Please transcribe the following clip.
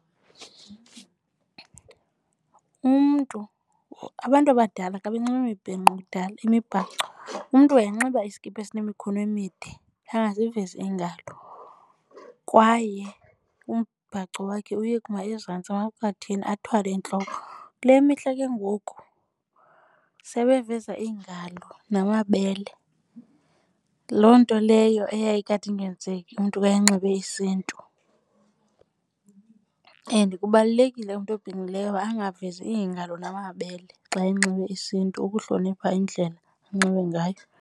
Umntu, abantu abadala xa benxibe imibhinqo kudala imibhaco, umntu wayenxiba iskipa esinemikhono emide angazivezi iingalo. Kwaye umbhaco wakhe uyekuma ezantsi emaqatheni athwale entloko. Kule mihla ke ngoku sebeveza iingalo namabele, loo nto leyo eyayikade ingenzeki umntu ka enxibe isiNtu. And kubalulekile umntu obhinqileyo angavezi iingalo namabele xa enxibe isiNtu, ukuhlonipha indlela anxibe ngayo.